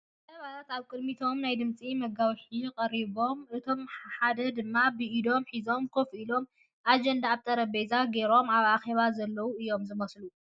ሰባት ኣብ ቕድሚቶም ናይ ድምፂ መጓውሒ ቐሪቦም እቶም ሓደ ድማ ብኢዶም ሒዞም ኮፍ ኢሎም ኣጀንዳ ኣብ ጠረጴዛ ገይሮም ኣብ ኣኼባ ዘለዉ እዮም ዝመስል ።